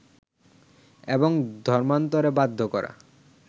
এবং ধর্মান্তরে বাধ্য করা